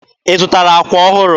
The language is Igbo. Ị zụtara àkwà ọhụrụ?